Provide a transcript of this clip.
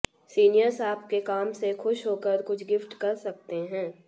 seniors आपके काम से खुश होकर कुछ गिफ्ट कर सकते हैं